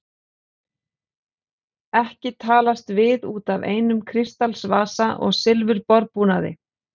Ekki talast við út af einum kristalsvasa og silfurborðbúnaði.